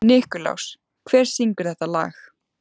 Nikulás, hver syngur þetta lag?